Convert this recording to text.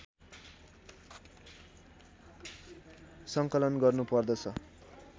सङ्कलन गर्नुपर्दछ